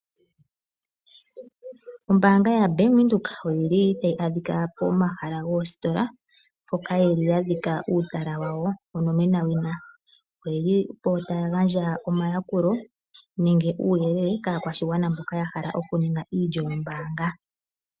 Ombaanga yaBank Windhoek oyili tayi adhika pomahala goositola mpoka yeli yadhika uutala wawo onomenawina, oyeli po taya gandja omayakulo nenge uuyelele kaakwashigwana mboka yahala oku ninga iilyo yombaanga.